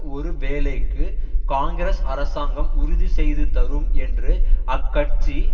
ஒரு வேலைக்கு காங்கிரஸ் அரசாங்கம் உறுதி செய்து தரும் என்று அக்கட்சி